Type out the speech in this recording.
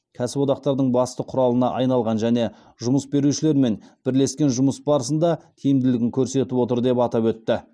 кәсіподақтардың басты құралына айналған және жұмыс берушілермен бірлескен жұмыс барысында тиімділігін көрсетіп отыр деп атап өтті